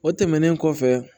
O tɛmɛnen kɔfɛ